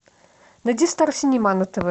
найди стар синема на тв